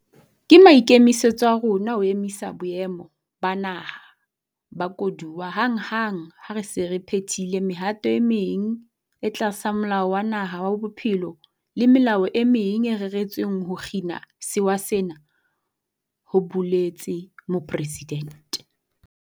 Ke maikemisetso a rona ho emisa Boemo ba Naha ba Koduwa hanghang ha re se re phethile mehato e meng e tlasa Molao wa Naha wa Bophelo le melao e meng e reretsweng ho kgina sewa sena, ho boletse mopresidente.